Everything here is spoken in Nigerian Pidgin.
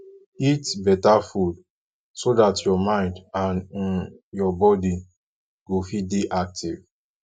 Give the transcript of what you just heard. eat better food so dat your mind and um your body go fit dey active